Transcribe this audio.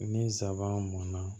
Ni nsaban mɔnna